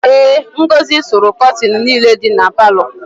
Ee, Ngọzị sụrụ kọtịnị niile dị na palọ.